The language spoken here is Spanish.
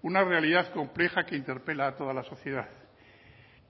una realidad compleja que interpela a toda la sociedad